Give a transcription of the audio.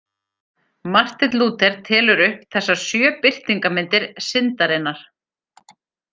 Marteinn Lúther telur upp þessar sjö birtingarmyndir syndarinnar.